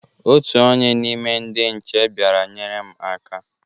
Otu onye n' ime ndị nche bịara nyere m aka.